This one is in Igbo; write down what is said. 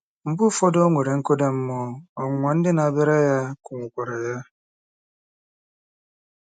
Mgbe ụfọdụ, o nwere nkụda mmụọ, ọnwụnwa ndị na-abịara ya kụnwụkwara ya.